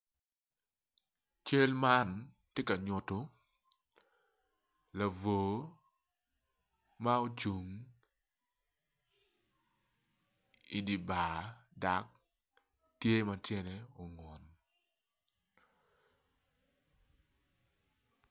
Cal man tye ka nyuto labwor ma ocung idi bar dok tye ma tyene ongun.